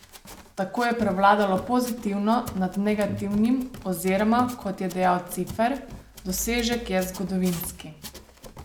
Tako je prevladalo pozitivno nad negativnim oziroma, kot je dejal Cifer: "Dosežek je zgodovinski.